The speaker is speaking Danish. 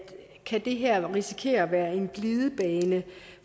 kan risikere at være en glidebane